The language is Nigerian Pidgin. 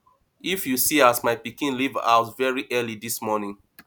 if you see as my pikin leave house very early dis morning